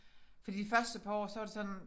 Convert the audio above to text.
Fordi de første par år så var det sådan